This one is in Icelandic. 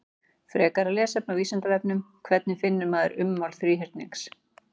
Frekara lesefni á Vísindavefnum: Hvernig finnur maður ummál þríhyrnings?